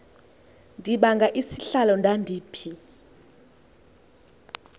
ndibanga isihlalo ndandiphi